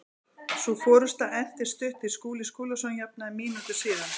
Sú forusta entist stutt því Skúli Skúlason jafnaði mínútu síðar.